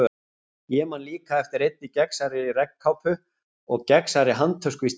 Ég man líka eftir einni gegnsærri regnkápu og gegnsærri handtösku í stíl.